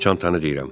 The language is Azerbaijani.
Çantanı deyirəm.